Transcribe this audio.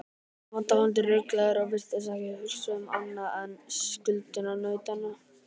Hann var dálítið ruglaður og virtist ekki hugsa um annað en skuldunautana.